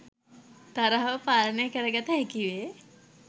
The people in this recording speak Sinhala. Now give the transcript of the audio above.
තරහව පාලනය කරගත හැකි වේ.